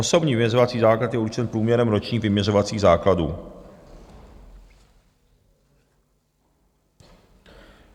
Osobní vyměřovací základ je určen průměrem ročních vyměřovacích základů.